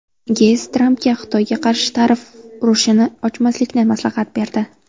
Geyts Trampga Xitoyga qarshi tarif urushini ochmaslikni maslahat berdi.